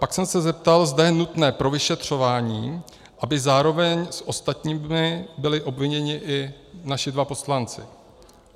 Pak jsem se zeptal, zda je nutné pro vyšetřování, aby zároveň s ostatními byli obviněni i naši dva poslanci.